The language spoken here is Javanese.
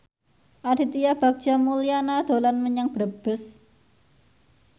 Aditya Bagja Mulyana dolan menyang Brebes